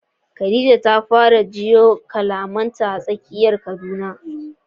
Khadija ta fara jiyo kalamanta a tsakiyar Kaduna.